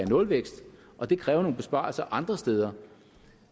nulvækst og det kræver nogle besparelser andre steder